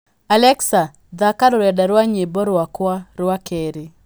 alexa thaaka rũrenda rwa nyĩmbo rwakwa rwa keerĩ